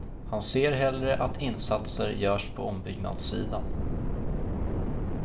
Han ser hellre att insatser görs på ombyggnadssidan.